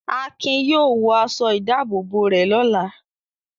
Akin yóò wọ aṣọ-ìdáàbòbò rẹ̀ lọ́la.